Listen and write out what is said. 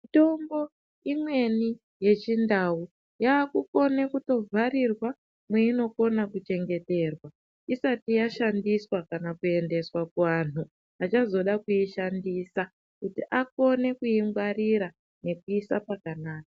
Mitombo imweni yechindau yakukone kutovharirwa mwainokona kuchengeterwa isati yashandiswa kana kuendeswa kuanhu achazoda kuishandisa kuti akone kuingwarira nekuiisa pakanaka.